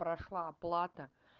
прошла оплата